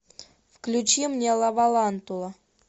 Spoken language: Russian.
включи мне лавалантула